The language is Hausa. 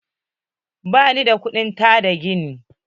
Ba ni da kudin taada gini.